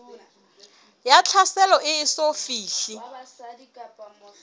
ya tlhaselo e eso fihle